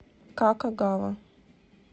какогава